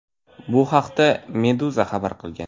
Bu haqda Meduza xabar qilgan .